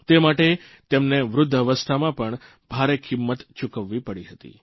તે માટે તેમને વૃદ્ધાવસ્થામાં પણ ભારે કિંમત ચૂકવવી પડી હતી